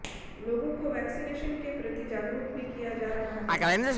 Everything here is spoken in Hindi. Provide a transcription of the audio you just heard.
लोगों को वैक्सीनेशन के प्रति जागरूक भी किया जा रहा है